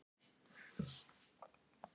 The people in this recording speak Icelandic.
Ég tala dönsku og frönsku.